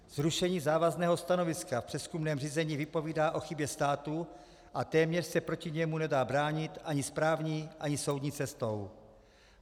Zrušení závazného stanoviska v přezkumném řízení vypovídá o chybě státu a téměř se proti němu nedá bránit ani správní, ani soudní cestou.